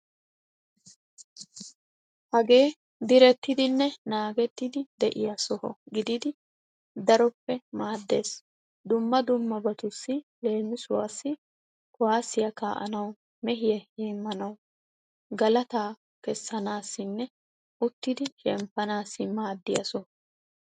Hagee direttidinne naagettidi de'iya soho gididi daroppe maaddeees. Dumma dummabatussi leemisuwaassi kuwaasiya kaa'anwu, mehiya heemmanawu, galataa kessanaassinne uttidi shemppanassi maaddiya soho.